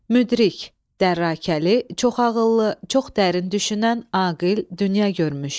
Müdrik – dərakəli, çox ağıllı, çox dərin düşünən, aqil, dünya görmüş.